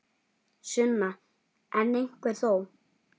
Sunna: En einhver þó?